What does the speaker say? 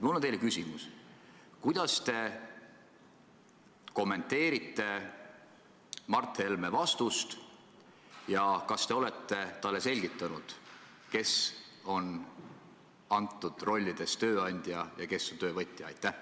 Mul on teile küsimus: kuidas te kommenteerite Mart Helme vastust ja kas te olete talle selgitanud, kes on antud situatsioonis tööandja ja kes on töövõtja?